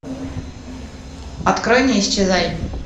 открой не исчезай